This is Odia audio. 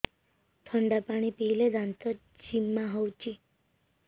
ଥଣ୍ଡା ପାଣି ପିଇଲେ ଦାନ୍ତ ଜିମା ହଉଚି